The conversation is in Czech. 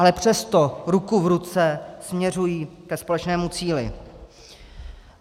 Ale přesto, ruku v ruce, směřují ke společnému cíli.